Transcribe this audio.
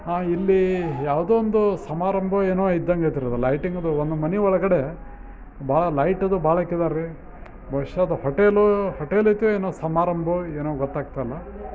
ಹಾಂ ಇಲ್ಲಿ ಯಾವ್ದೋ ಒಂದು ಸಮಾರಂಭ ಏನೋ ಇದ್ದಂಗೈತ್ರಿ ಅದ್ ಲೈಟಿಂಗ್ ಅದ್ ಒಂದು ಮನೀ ಒಳಗಡೆ ಬಾಳ ಲೈಟ್ ಅದ್ ಬಾಳ ಆಖ್ಯಾರ್ರಿ ಬಹುಶ ಅದ್ ಹೋಟೆಲ್ ಹೋಟೆಲ್ ಐತಿ ಏನೋ ಸಮಾರಂಭಾ ಏನೋ ಗೋತ್ತಾಗ್ತಾ ಇಲ್ಲಾ.